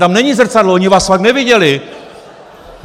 Tam není zrcadlo, oni vás fakt neviděli.